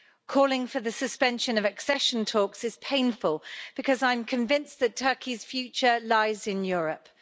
Calling for the suspension of accession talks is painful because I'm convinced that Turkey's future lies in Europe.